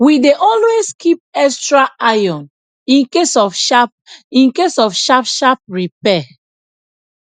we dey always keep extra iron incase of sharp incase of sharp sharp repair